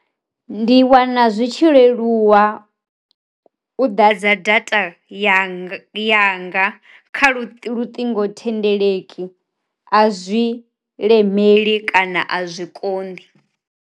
Ndi wana zwi tshi leluwa u ḓa dza data ya yanga kha luṱingo thendeleki, a zwi lemeli kana a zwi konḓi.